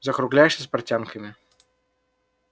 закругляешься с портянками